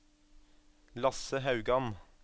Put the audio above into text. Lasse Haugan